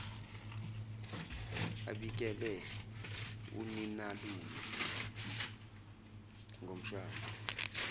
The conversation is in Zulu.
abikele uninalume ngomshado